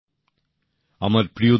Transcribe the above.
নতুনদিল্লি ২৯শে নভেম্বর ২০২০